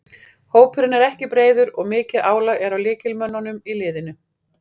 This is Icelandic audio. Hópurinn er ekki breiður og mikið álag er á lykilmönnunum í liðinu.